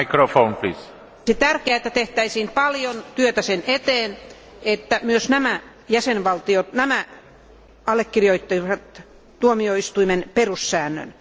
Olisi tärkeää, että tehtäisiin paljon työtä sen eteen, että myös nämä valtiot allekirjoittaisivat tuomioistuimen perussäännön.